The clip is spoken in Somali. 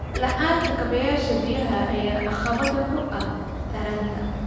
La'aanta kaabayaasha biyaha ayaa caqabad ku ah taranta.